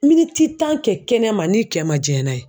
Miniti tan kɛ kɛnɛma n'i kɛ ma jiɲɛ n'a ye